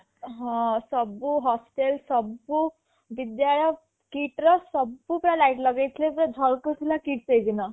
ହଁ ସବୁ hostel ସବୁ ବିଦ୍ୟାଳୟ KIIT ର ସବୁ ପୁରା light ଲଗେଇ ଥିଲେ ପୁରା ଝଲ୍କୁ ଥିଲା KIIT ସେ ଦିନ